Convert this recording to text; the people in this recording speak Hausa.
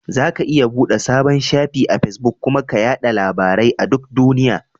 Zaka iya buɗe sabon shafi a Fesbuk kuma ka yaɗa labarai a duk duniya.